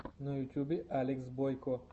на ютьюбе алекс бойко